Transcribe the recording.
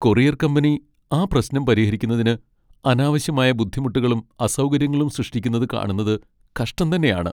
Courier company ആ പ്രശ്നം പരിഹരിക്കുന്നതിന് അനാവശ്യമായ ബുദ്ധിമുട്ടുകളും അസൗകര്യങ്ങളും സൃഷ്ടിക്കുന്നത് കാണുന്നത് കഷ്ടം തന്നെയാണ്.